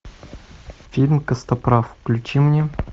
фильм костоправ включи мне